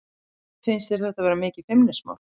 Finnst þér þetta vera mikið feimnismál?